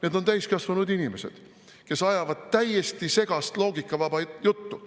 Need on täiskasvanud inimesed, kes ajavad täiesti segast loogikavaba juttu.